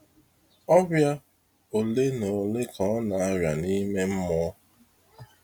Ọrịa ole na ole ka ọna arịa nime mmụọ?